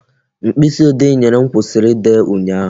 Mkpịsị ode I nyere m kwụsịrị ide ụnyaahụ